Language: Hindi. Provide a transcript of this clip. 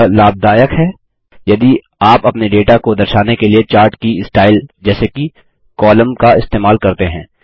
यह लाभदायक है यदि आप अपने डेटा को दर्शाने के लिए चार्ट की स्टाइल जैसे कि कोलम्न का इस्तेमाल करते हैं